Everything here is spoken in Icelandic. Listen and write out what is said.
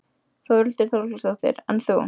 Þórhildur Þorkelsdóttir: En þú?